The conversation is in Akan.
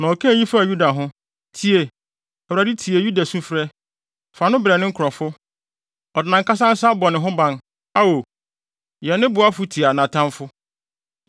Na ɔkaa eyi faa Yuda ho: “Tie, Awurade, tie Yuda sufrɛ; fa no brɛ ne nkurɔfo. Ɔde nʼankasa nsa bɔ ne ho ban. Ao, yɛ ne boafo tia nʼatamfo!”